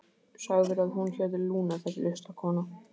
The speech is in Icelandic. Sagðirðu að hún héti Lúna, þessi listakona?